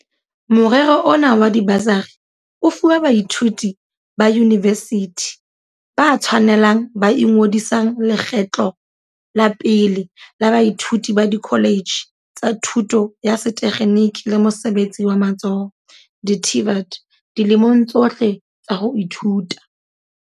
Morero ona wa dibasari o fuwa baithuti ba yunivesithi ba tshwanelang ba ingodisang lekgetlo la pele le baithuti ba dikholetjhe tsa thuto ya sethe kgeniki le mosebetsi wa matsoho, di-TVET, dilemong tsohle tsa ho ithuta.